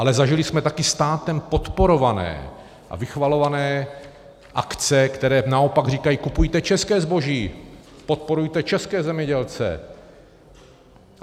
Ale zažili jsme také státem podporované a vychvalované akce, které naopak říkají: kupujte české zboží, podporujte české zemědělce.